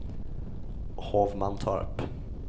Hovmantorp